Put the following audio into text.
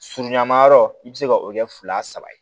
Surunyanmayɔrɔ i bɛ se ka o kɛ fila saba ye